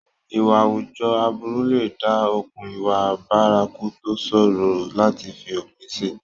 Ìwà àwùjọ aburú lè dá okùn ìwà bárakú tó ṣòro láti fi òpin sí.